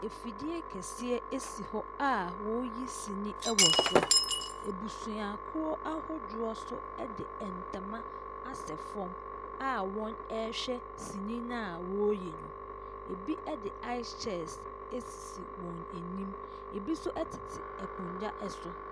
Efidie kɛseɛ bi si hɔ a wɔyi sini ɛwɔ so. Abusua kuo ahodoɔ nso edi ntama. asɛ fɔm a wɔn ɛhwɛ sini no ɔyi no. Ebi ɛde ais kyɛst sisi wɔn anim. Ebi nso ɛtete akonya ɛso.